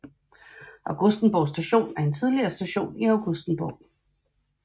Augustenborg Station er en tidligere station i Augustenborg